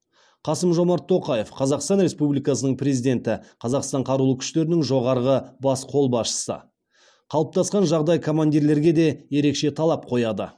қасым жомарт тоқаев қазақстан республикасының президенті қазақстан қарулы күштерінің жоғарғы бас қолбасшысы қалыптасқан жағдай командирлерге де ерекше талап қояды